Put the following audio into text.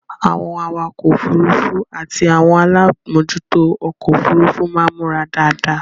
Àwọn awakọ òfurufú àti àwọn alámòjútó ọkọ-òfurufú máa ń múra dáadáa.